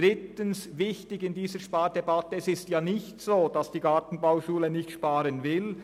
Drittens: Es ist nicht so, dass die Gartenbauschule nicht sparen will.